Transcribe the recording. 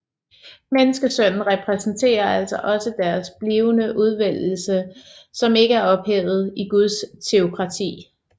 Menneskesønnen repræsenterer altså også deres blivende udvælgelse som ikke er ophævet i Guds teokrati